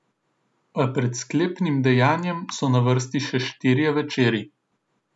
A pred sklepnim dejanjem so na vrsti še štirje večeri.